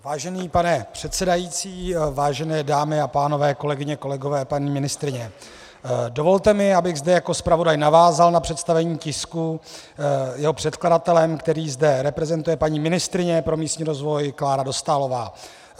Vážený pane předsedající, vážené dámy a pánové, kolegyně, kolegové, paní ministryně, dovolte mi, abych zde jako zpravodaj navázal na představení tisku jeho předkladatelem, který zde reprezentuje paní ministryně pro místní rozvoj Klára Dostálová.